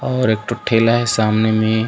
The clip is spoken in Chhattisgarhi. और एकठो ठेला हे सामने में--